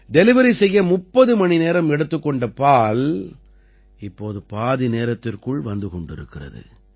delivery செய்ய 30 மணி நேரம் எடுத்துக் கொண்ட பால் இப்போது பாதி நேரத்திற்குள் வந்து கொண்டிருக்கிறது